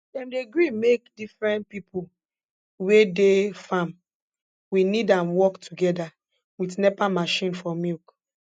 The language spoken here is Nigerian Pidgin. dem dey gree make diffren pipo we dey farm we need am work togeda wit nepa machine for milk